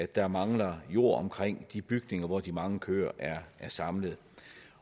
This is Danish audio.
der mangler jord omkring de bygninger hvor de mange køer er samlet